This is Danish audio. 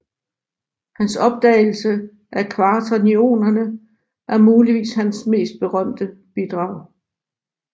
Hans opdagelse af kvaternionerne er muligvis hans mest berømte bidrag